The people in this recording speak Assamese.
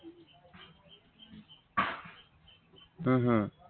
উম হম